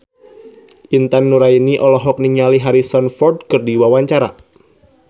Intan Nuraini olohok ningali Harrison Ford keur diwawancara